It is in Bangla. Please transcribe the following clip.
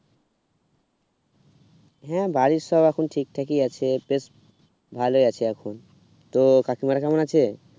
হুম বাড়ির সব এখন ঠিক থাকি আছে বেশ ভালো আছে এখন তো কাকিমার কেমন আছে?